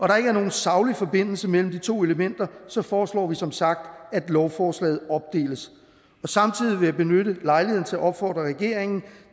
der ikke er nogen saglig forbindelse mellem de to elementer foreslår vi som sagt at lovforslaget opdeles samtidig vil jeg benytte lejligheden til at opfordre regeringen